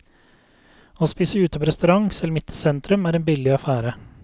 Å spise ute på restaurant, selv midt i sentrum, er en billig affære.